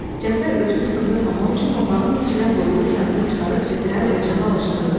Cəfər özünü sındırmamaq üçün papağının içinə qoyduğu kağızı çıxarıb birtəhər ocağı alışdırdı.